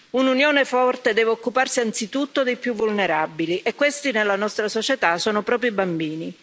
Un'Unione forte deve occuparsi anzitutto dei più vulnerabili e questi, nella nostra società, sono proprio i bambini.